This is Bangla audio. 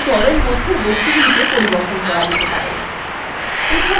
শুধু দলএর মধ্যের বস্তুগুলিকে সম্পাদনা করা যাবে